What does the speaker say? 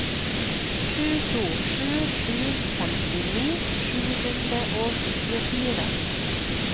sju to sju sju femtini sju hundre og tjuefire